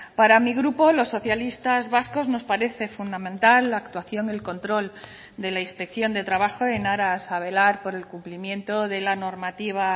para mi grupo los socialistas vascos nos parece fundamental la actuación del control de la inspección de trabajo en aras a velar por el cumplimiento de la normativa